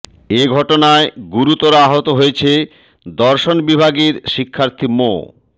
এ ঘটনায় গুরুতর আহত হয়েছেন দর্শন বিভাগের শিক্ষার্থী মো